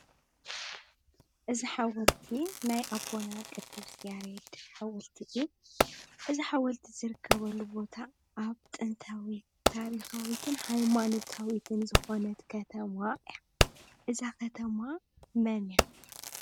እዚ ሓውልቲ ናይ ኣቦና ቅዱስ ያሬድ ሓወልቲ እዩ። እዚ ሓወልቲ ዝርከበሉ ቦታ ኣብ ጥንታዊ ታሪኻዊትን ሃይማኖታዊትን ዝኾነት ከተማ እያ። እዛ ከተማ መን እያ?